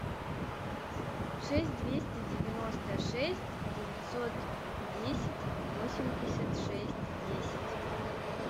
шесть двести девяносто шесть девятьсот десять восемьдесят шесть десять